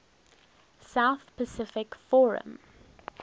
south pacific forum